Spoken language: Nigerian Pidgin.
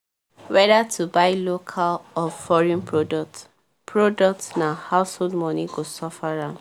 whether to buy local or foreign products products na household money go suffer am